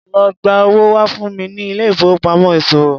Lo gba owó wá fún mi ní ilé ìfowópamọ́ ìṣòwò.